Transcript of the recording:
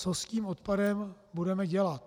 Co s tím odpadem budeme dělat?